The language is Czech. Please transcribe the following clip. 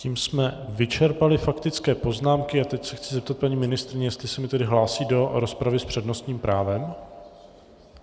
Tím jsme vyčerpali faktické poznámky a teď se chci zeptat paní ministryně, jestli se mi tedy hlásí do rozpravy s přednostním právem.